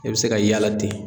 E be se ka yaala ten